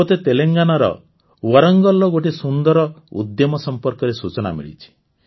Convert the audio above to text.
ମୋତେ ତେଲଙ୍ଗାନାର ୱାରଙ୍ଗଲର ଗୋଟିଏ ସୁନ୍ଦର ଉଦ୍ୟମ ସମ୍ପର୍କରେ ସୂଚନା ମିଳିଛି